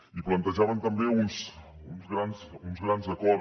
i plantejaven també uns grans acords